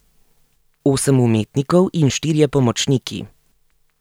Osem umetnikov in štirje pomočniki.